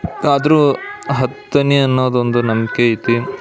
ಆದ್ರೂ ಹತ್ತನೇ ಅನ್ನೋದು ಒಂದು ನಂಬಿಕೆ ಆಯ್ತಿ.